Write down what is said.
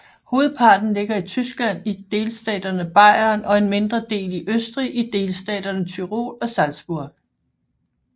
Hovedparten ligger i Tyskland i delstaten Bayern og en mindre del i Østrig i delstaterne Tyrol og Salzburg